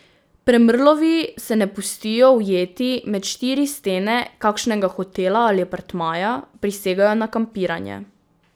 Premrlovi se ne pustijo ujeti med štiri stene kakšnega hotela ali apartmaja, prisegajo na kampiranje.